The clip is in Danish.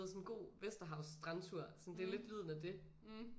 Sådan en god Vesterhavs strandtur sådan det er lidt lyden af det